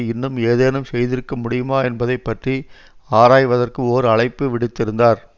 இன்னும் ஏதேனும் செய்திருக்க முடியுமா என்பதை பற்றி ஆராய்வதற்கு ஓர் அழைப்பு விடுத்திருந்தார்